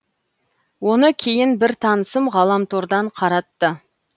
оны кейін бір танысым ғаламтордан қаратты